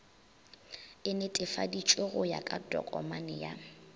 e netefaditšwego ya tokomane ya